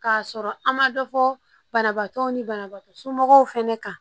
K'a sɔrɔ an ma dɔ fɔ banabaatɔw ni banabaatɔ somɔgɔw fɛnɛ kan